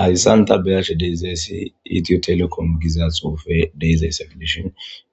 Hayssan ta beyarshe deezayssi itiyotelekon giza xoufe deezay saqlishon